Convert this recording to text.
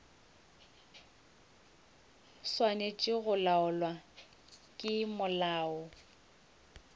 swanetše go laolwa ke molao